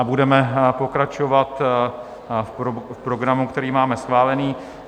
A budeme pokračovat v programu, který máme schválený.